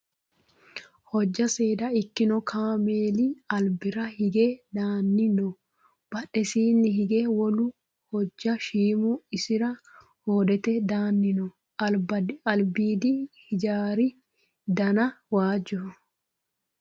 Hojja seeda ikkino kaameli albira hige daanni no. Badhesiinni higeno wolu hojja shiimu isira hoodete daanni no. Albiidi hijaari dana waajjoho.